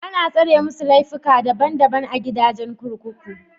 Ana tsare masu laifuka daban daban a gidajen kurkuku.